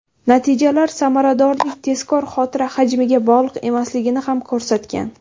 Natijalar samaradorlik tezkor xotira hajmiga bog‘liq emasligini ham ko‘rsatgan.